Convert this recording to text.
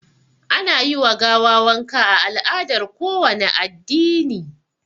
Ana yi wa gawa wanka a al'adar kowane addini